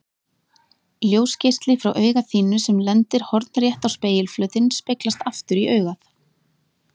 Ljósgeisli frá auga þínu sem lendir hornrétt á spegilflötinn speglast aftur í augað.